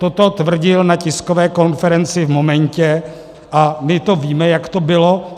Toto tvrdil na tiskové konferenci v momentě, a my to víme, jak to bylo.